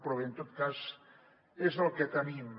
però bé en tot cas és el que tenim